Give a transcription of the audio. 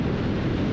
Yox, getdi.